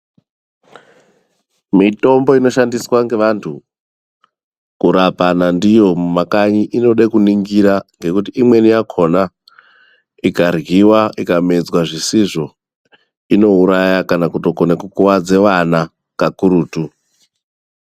Mitombo inoshandiswa ngevantu kurapana ndiyo mumakanyi inoda kuningirwa ngekuti imweni yakona ikaryiwa kana kumedza zvisizvo inouraya kana kutokone kukuvadza vana kakurutu.